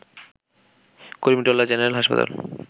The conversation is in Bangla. কুর্মিটোলা জেনারেল হাসপাতাল